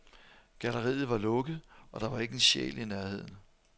Galleriet var lukket, og der var ikke en sjæl i nærheden.